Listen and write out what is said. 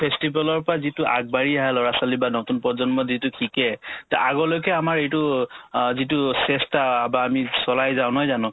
festival ৰ পৰা যিটো আগবাঢ়ি অহা ল'ৰা-ছোৱালি বা নতুন প্ৰজন্মই যিটো শিকে তে আগলৈকে আমাৰ এইটো অ যিটো চেষ্টা বা আমি চলাই যাও নহয় জানো